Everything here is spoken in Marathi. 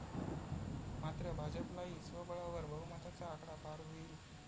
मात्र भाजपलाही स्वबळावर बहुमताचा आकडा पार होईल.